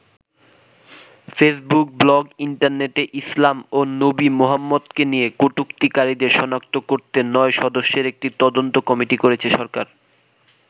Facebook, blog, ইন্টারনেটে ইসলাম ও নবী মোহাম্মদকে নিয়ে কটুক্তিকারীদের সনাক্ত করতে নয় সদস্যের একটি তদন্ত কমিটি করেছে সরকার।